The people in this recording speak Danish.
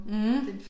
Mh